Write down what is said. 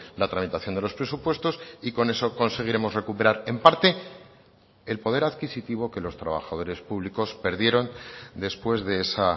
la tramitación de los presupuestos y con eso conseguiremos recuperar en parte el poder adquisitivo que los trabajadores públicos perdieron después de esa